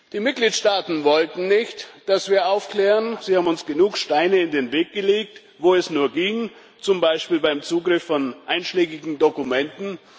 Die Mitgliedstaaten wollten nicht, dass wir aufklären. Sie haben uns genug Steine in den Weg gelegt, wo es nur ging, zum Beispiel beim Zugriff von einschlägigen Dokumenten.